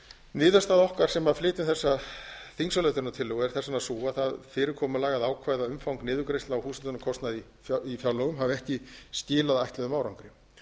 niðurstaða okkar sem flytja þessa þingsályktunartillögu er þess vegna sú að það fyrirkomulag að ákveða umfang niðurgreiðslu á húshitunarkostnaði í fjárlögum hafa ekki skilað tilætluðum árangri